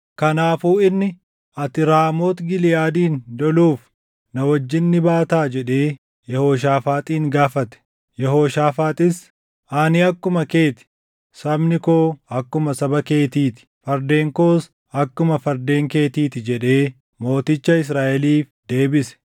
Kanaafuu inni, “Ati Raamooti Giliʼaadin loluuf na wajjin ni baataa?” jedhee Yehooshaafaaxin gaafate. Yehooshaafaaxis, “Ani akkuma kee ti; sabni koo akkuma saba keetii ti; fardeen koos akkuma fardeen keetii ti” jedhee mooticha Israaʼeliif deebise.